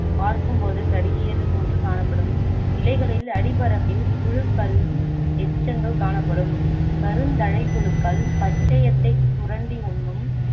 பார்க்கும் போது கருகியது போன்று காணப்படும் இலைகளில் அடிப்பரப்பில் புழுக்களின் எச்சங்கள் காணப்படும் கருந்தலைப்புழுக்கள் பச்சையத்தைச் சுரண்டி உண்ணும்